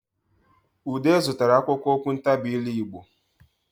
Ude zụtara akwụkwọ okwuntabiire Igbo